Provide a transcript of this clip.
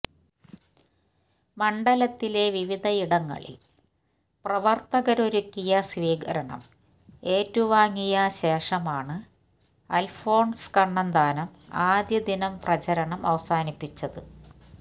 മണ്ഡലത്തിലെ വിവിധയിടങ്ങളില് പ്രവര്ത്തകരൊരുക്കിയ സ്വീകരണം ഏറ്റുവാങ്ങിയ ശേഷമാണ് അല്ഫോണ്സ് കണ്ണന്താനം അദ്യ ദിനം പ്രചരണം അവസാനിപ്പിച്ചത്